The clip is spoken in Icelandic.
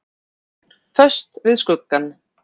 Föst við skuggann.